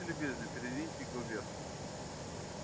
будьте любезны передвиньте его вверх